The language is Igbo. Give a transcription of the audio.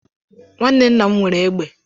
Nwanne nna m nwere égbè.